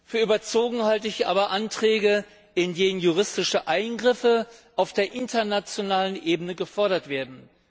Für überzogen aber halte ich Anträge, in denen juristische Eingriffe auf der internationalen Ebene gefordert werden.